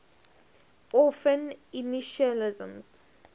orphan initialisms